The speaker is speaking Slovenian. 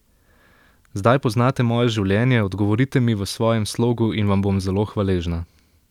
Zdaj poznate moje življenje, odgovorite mi v svojem slogu in vam bom zelo hvaležna.